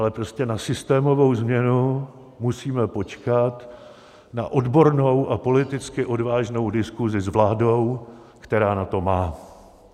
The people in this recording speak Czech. Ale prostě na systémovou změnu musíme počkat na odbornou a politicky odvážnou diskusi s vládou, která na to má.